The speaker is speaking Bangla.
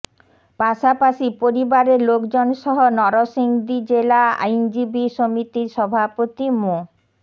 পাশাপাশি পরিবারের লোকজনসহ নরসিংদী জেলা আইনজীবী সমিতির সভাপতি মো